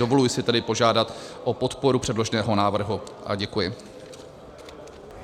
Dovoluji si tedy požádat o podporu předloženého návrhu a děkuji.